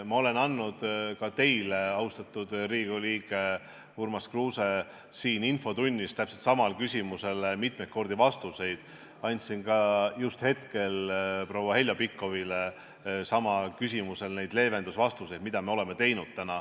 Ma olen andnud ka teile, austatud Riigikogu liige Urmas Kruuse, siin infotunnis täpselt samale küsimusele mitmeid kordi vastuse, andsin ka just hetke eest proua Heljo Pikhofile vastuse samale küsimusele, mis leevendusi me oleme teinud.